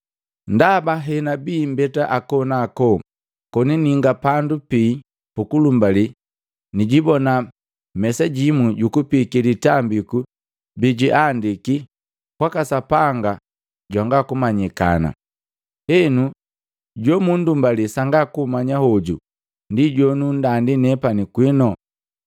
ndaba henabia mbeta hako na ako koni ninga pandu pii pukulumbali nijibona mesajimu jukupiki litambiku bijiandiki,” “kwaka Sapanga janga kumanyikana.” Henu, jo mundumbali sanga kummanya hoju, ndi jonundandi nepani kwinu.